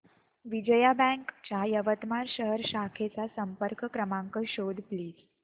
Vijaya bank च्या यवतमाळ शहर शाखेचा संपर्क क्रमांक शोध प्लीज